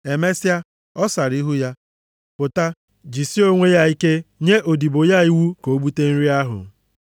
Emesịa, ọ sara ihu ya, pụta, jisie onwe ya ike nye odibo ya iwu ka o bute nri ahụ.